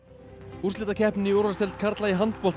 úrslitakeppnin í úrvalsdeild karla í handbolta